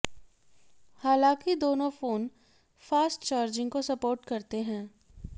हालांकि दोनों phone fast charging को सोपर्ट करते हैं